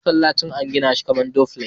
Masallacin an gina shi kamar duplex.